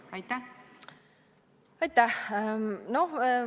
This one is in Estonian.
Aitäh!